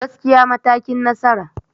Gaskiya matakin nasara.